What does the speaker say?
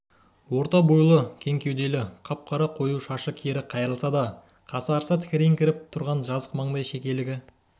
орта бойлы кең кеуделі қап-қара қою шашы кері қайырылса да қасарыса тікірейіңкіреп тұрған жазық маңдай шекелігі